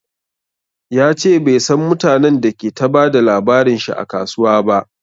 Yace bai San mutanen da ke ta bada labarin shi a kasuwa ba